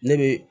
Ne be